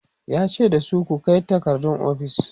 yace dasu "ku Kai takardun ofis!"